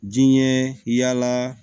Diɲɛ yala